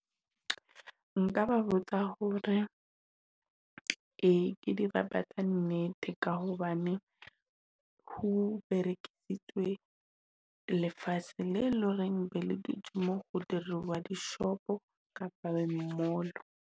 Nka ba botsa hore, ee ke dirapa tsa nnete ka hobane, ho berekisitswe lefatshe le loreng be le dutje mo ho diriwa dishopo kapa di-mall-o.